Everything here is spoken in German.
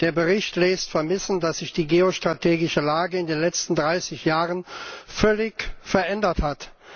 Der Bericht lässt vermissen, dass sich die geostrategische Lage in den letzten dreißig Jahren völlig verändert hat.